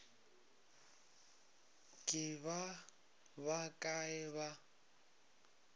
ke ba ba kae ba